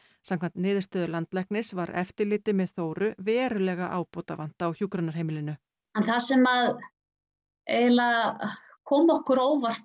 samkvæmt niðurstöðu landlæknis var eftirliti með Þóru verulega ábótavant á hjúkrunarheimilinu það sem að kom okkur á óvart